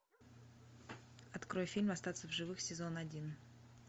открой фильм остаться в живых сезон один